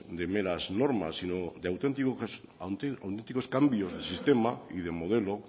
de meras normas sino de auténticos cambios de sistema y de modelo